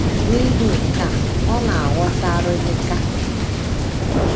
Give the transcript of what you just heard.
N’ihi nke a, ọ na - aghọta arịlịka.